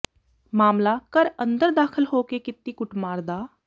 ਮਾਮਲਾ ਘਰ ਅੰਦਰ ਦਾਖ਼ਲ ਹੋ ਕੇ ਕੀਤੀ ਕੁੱਟਮਾਰ ਦਾ